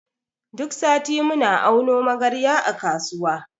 Duk sati muna auno magarya a kasuwa.